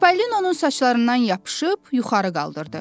Çipəlinonun saçlarından yapışıb yuxarı qaldırdı.